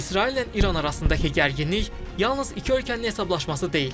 İsraillə İran arasındakı gərginlik yalnız iki ölkənin hesablaşması deyil.